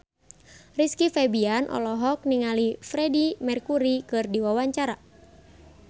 Rizky Febian olohok ningali Freedie Mercury keur diwawancara